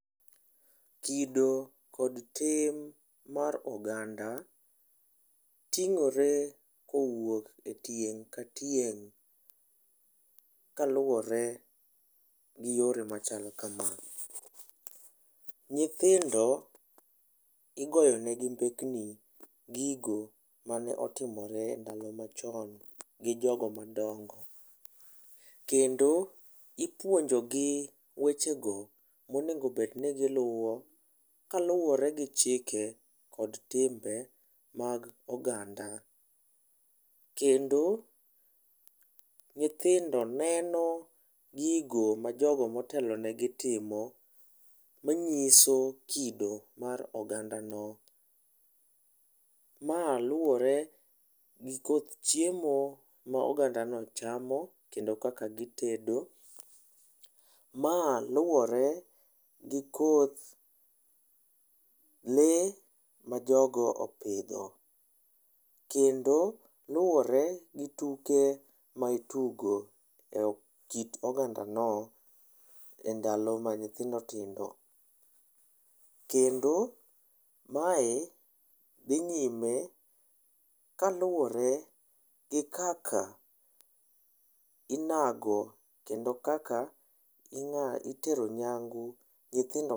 Kido kod tim mar oganda ting'ore kowuok e tieng' ka tieng' kaluwore gi yore machal kama: nyithindo igoyo negi mbekni gigo mane otimore ndalo machon gi jogo madongo. Kendo ipuonjo gi weche go ma onego bed ni giluwo kaluwore gi chike kod timbe mag oganda. Kendo, nyithindo neno gigo ma jogo motelo negi timo, manyiso kido mar oganda no. Ma luwore gi koth chiemo ma oganda no chamo, kendo kaka gitedo. Ma luwore gi koth lee ma jogo opidho, kendo luwore gi tuke ma itugo e kit oganda no e ndalo ma nyithindo tindo. Kendo, mae dhi nyime ka luwore gi kaka inago kendo kaka itero ny'ango nyithindo...